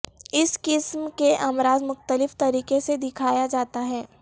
اس قسم کے امراض مختلف طریقے سے دکھایا جاتا ہے